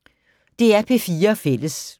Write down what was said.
DR P4 Fælles